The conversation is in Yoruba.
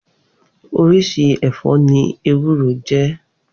Oríṣi ẹ̀fọ́ ní ewúro jẹ́.